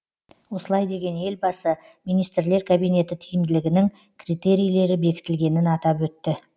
осылай деген елбасы министрлер кабинеті тиімділігінің критерийлері бекітілгенін атап өтті